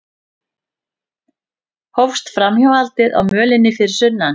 Hófst framhjáhaldið á mölinni fyrir sunnan